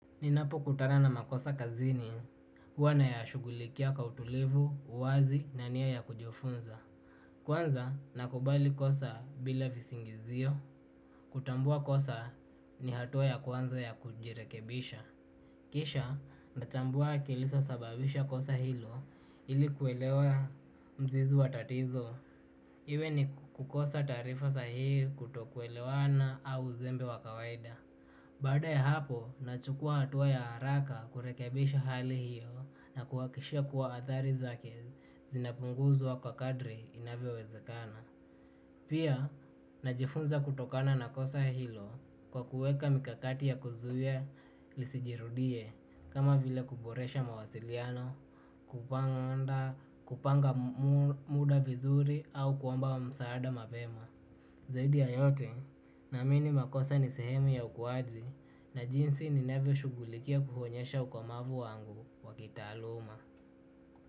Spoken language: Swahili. Ninapokutana na makosa kazini, huwa nayashugulikia kwa utulivu, uwazi na nia ya kujifunza. Kwanza na kubali kosa bila visingizio. Kutambua kosa ni hatua ya kwanza ya kujirekebisha. Kisha na chambua kilisa sababisha kosa hilo ili kuelewa mzizi wa tatizo. Iwe ni kukosa taarifa sahihi kutokuelewana au uzembe wa kawaida. Baada ya hapo, nachukua hatua ya haraka kurekebisha hali hiyo na kuhakikisha kuwa athari zake zinapunguzwa kwa kadri inavyowezekana. Pia najifunza kutokana na kosa hilo kwa kuweka mikakati ya kuzuia lisijirudie kama vile kuboresha mawasiliano kupanga muda vizuri au kuomba msaada mapema zaidi ya yote naamini makosa ni sehemu ya ukuaji na jinsi ninavyoshughulikia kuonyesha ukomavu wangu wa kitaaluma.